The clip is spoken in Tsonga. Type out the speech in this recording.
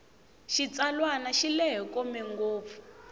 xitsalwana xi lehe kome ngopfu